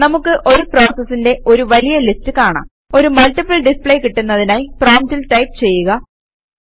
നമുക്ക് ഒരു പ്രോസസസിന്റെ ഒരു വലിയ ലിസ്റ്റ് കാണാം ഒരു മൾട്ടിപ്പിൾ ഡിസ്പ്ലേ കിട്ടുന്നതിനായി പ്രോംപ്റ്റിൽ ടൈപ് ചെയ്യുക